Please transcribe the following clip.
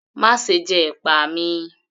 Máṣe jẹ ẹ̀pà mi!